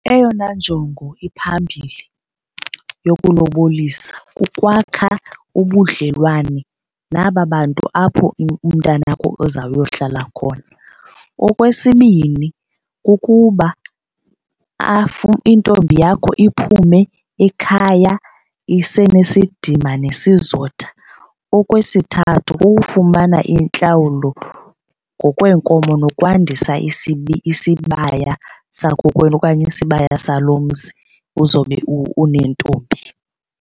Eyona njongo iphambili yokulobolisa kukwakha ubudlelwane naba bantu apho umntana wakho uzayohlala khona. Okwesibini, kukuba intombi yakho iphume ekhaya isenesidima nesizotha. Okwesithathu, kukufumana intlawulo ngokweenkomo nokwandisa isibaya sakokwenu okanye isibaya salo mzi uzobe unentombi.